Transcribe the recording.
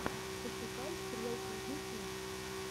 пошукай стрелку ютюб